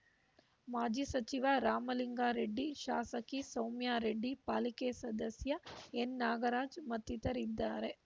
ಮಾಜಿ ಸಚಿವ ರಾಮಲಿಂಗಾ ರೆಡ್ಡಿ ಶಾಸಕಿ ಸೌಮ್ಯಾರೆಡ್ಡಿ ಪಾಲಿಕೆ ಸದಸ್ಯ ಎನ್‌ನಾಗರಾಜ್‌ ಮತ್ತಿತರರಿದ್ದಾರೆ